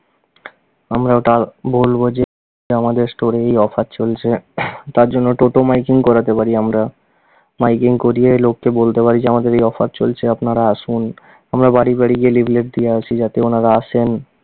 আমরা ওটা আলো~ বলবো যে আমাদের store এ এই offer চলছে। তার জন্য টোটো miking করাতে পারি আমরা, miking করিয়ে লোককে বলতে পারি যে আমাদের এই offer চলছে আমরা আনারা আসুন। আমরা বাড়ি বাড়ি গিয়ে leaflet দিয়ে আসি যাতে ওনারা আসেন।